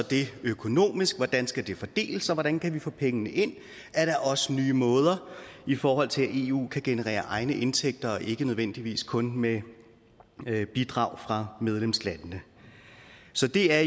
økonomisk hvordan skal det fordeles og hvordan kan vi få pengene ind er der også nye måder i forhold til at eu kan generere egne indtægter og ikke nødvendigvis kun med bidrag fra medlemslandene så det er